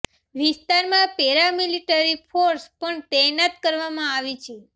વિસ્તારમાં paramilitary force પણ તૈનાત કરવામાં આવી છે